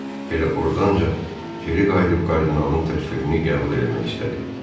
Elə ordanca geri qayıdıb kardinalın təklifini qəbul eləmək istədi.